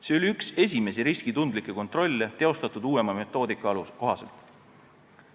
See oli üks esimesi riskitundlikke kontrolle, tehtud uuema metoodika kohaselt.